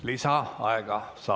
Lisaaega saab.